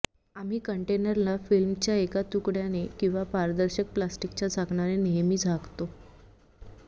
आम्ही कंटेनरला फिल्मच्या एका तुकड्याने किंवा पारदर्शक प्लास्टिकच्या झाकणाने नेहमी झाकतो